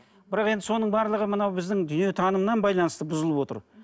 бірақ енді соның барлығы мынау біздің дүниетанымнан байланысты бұзылып отыр